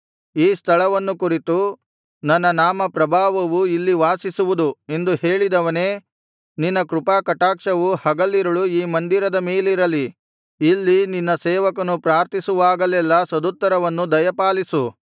ಈ ಸ್ಥಳವನ್ನು ಕುರಿತು ನನ್ನ ನಾಮಪ್ರಭಾವವು ಇಲ್ಲಿ ವಾಸಿಸುವುದು ಎಂದು ಹೇಳಿದವನೇ ನಿನ್ನ ಕೃಪಾ ಕಟಾಕ್ಷವು ಹಗಲಿರುಳು ಈ ಮಂದಿರದ ಮೇಲಿರಲಿ ಇಲ್ಲಿ ನಿನ್ನ ಸೇವಕನು ಪ್ರಾರ್ಥಿಸುವಾಗಲೆಲ್ಲಾ ಸದುತ್ತರವನ್ನು ದಯಪಾಲಿಸು